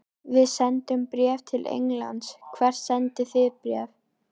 Við sendum bréf til Englands. Hvert sendið þið bréf?